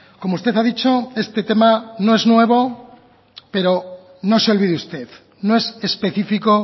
como usted ha dicho este tema no es nuevo pero no se olvide usted no es específico